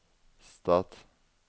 stat